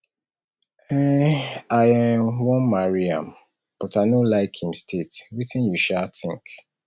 um i um wan marry am but i no like im state wetin you um think